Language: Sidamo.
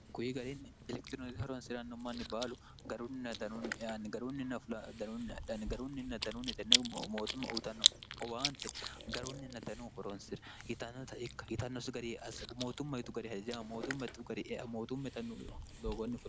kuyi gariinni elekitirinoti horonsi'ranno manni baalu grunidnnnnnigrunninn fl dnunndhnnigarunninn dnunnitenne mootumma utanno owaante garunninna danuu horonsira yitannosi garisagumootumm yitu gari hajajama mootummtu garimootu me0nnu doogonni o